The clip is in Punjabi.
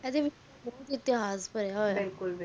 ਇਹਦੇ ਵਿਚ ਬੋਹਤ ਇਤਿਹਾਸ ਪੈਰਾ